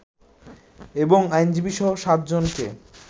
এবং আইনজীবীসহ সাতজনকে